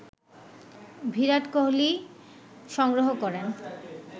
ভিরাট কোহলি সংগ্রহ করেন